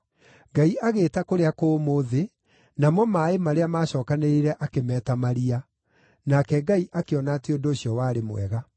Ngai agĩĩta kũrĩa kũmũ “thĩ,” namo maaĩ marĩa maacookanĩrĩire akĩmeeta “maria.” Nake Ngai akĩona atĩ ũndũ ũcio warĩ mwega.